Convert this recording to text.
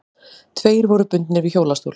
Tveir voru bundnir við hjólastól.